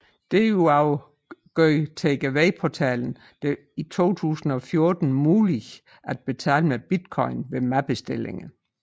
Derudover gjorde takeawayportalen det i 2014 muligt at betale med bitcoin ved madbestillinger